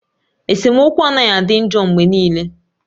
Esemokwu anaghị adị njọ mgbe niile